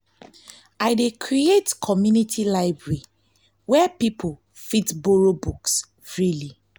i dey create community library where people fit borrow books freely.